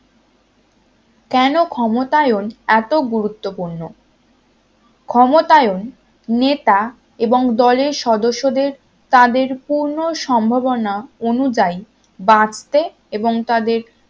কেন ক্ষমতায়ন এত গুরুত্বপূর্ণ ক্ষমতায়ন নেতা এবং দলের সদস্যদের তাদের পূর্ণ সম্ভবনা অনুযায়ী বাঁচতে এবং তাদের